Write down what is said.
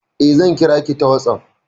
Eh, zan kira ki ta WhatsApp.